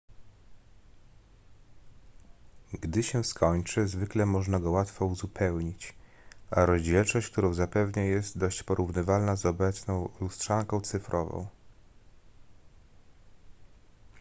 gdy się skończy zwykle można go łatwo uzupełnić a rozdzielczość którą zapewnia jest dość porównywalna z obecną lustrzanką cyfrową